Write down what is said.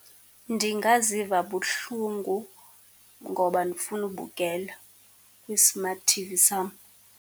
Ndingaziva buhlungu ngoba ndifuna ukubukela kwi-smart T_V sam.